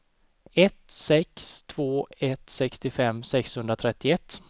ett sex två ett sextiofem sexhundratrettioett